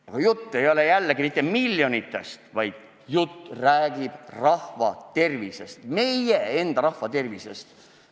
Aga jällegi, jutt ei käi miljonitest eurodest, vaid jutt räägib rahva tervisest, meie enda rahva tervisest.